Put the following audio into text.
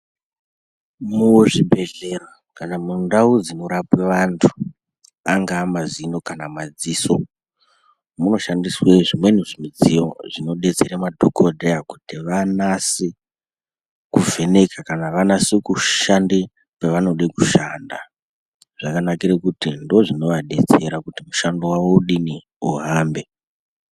Muzvibhedhlera kana mundau dzinorapwe vantu, angaa mazino kana madziso, munoshandiswe zvimwe zvimidziyo, zvinodetsere madhokodheya kuti vanase, kuvheneka kana kuti vanase kushande pevanode kushanda. Zvakanajire kuti ndozvonovadetsera kuti mushando wavo udini uhambe.